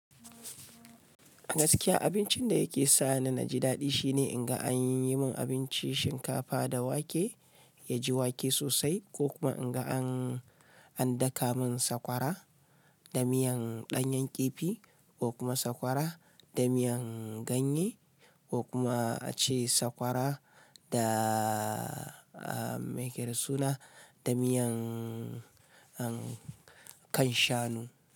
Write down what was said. Gaskiya abincin da yake sa ni naji daɗi shine in ga an yi mun abinci shinkafa da wake, ya ji wake sosai ko kuma in ga an daka mun sakwara da miyan ɗanyen ƙifi ko kuma sakwara da miyan ganye ko kuma a ce sakwara da a mai yake da suna da miyan kan shanu.